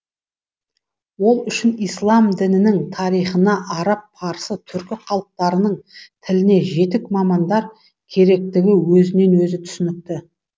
ол үшін ислам дінінің тарихына араб парсы түрік халықтарының тіліне жетік мамандар керектігі өзінен өзі түсінікті